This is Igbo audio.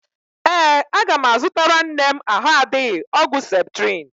Ee, aga m azụtara nne m ahụ adịghị ọgwụ ceptrin.